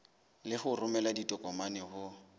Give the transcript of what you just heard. le ho romela ditokomane ho